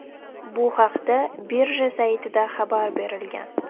Bu haqda birja saytida xabar berilgan .